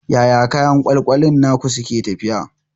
Yaya kayan ƙyalƙyalin naku suke tafiya?